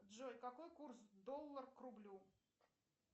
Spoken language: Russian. джой какой курс доллар к рублю